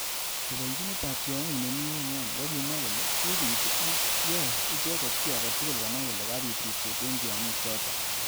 Teleljinet ab tyongik nemi emoni kokimwankole kibit ak yori icheket ki age tugul konai kole kabit ribset eng tyongik chotok.